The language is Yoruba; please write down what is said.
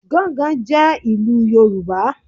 Gángan jẹ́ ìlú Yorùbá